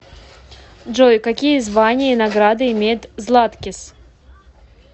джой какие звания и награды имеет златкис